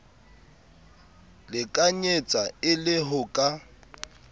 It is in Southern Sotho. lekanyetsa e le ho ka